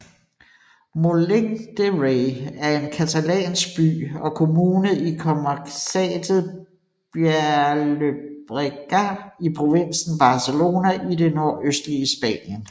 Molins de Rei er en catalansk by og kommune i comarcaet Baix Llobregat i provinsen Barcelona i det nordøstlige Spanien